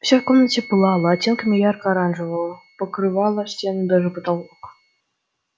все в комнате пылало оттенками ярко-оранжевого покрывало стены даже потолок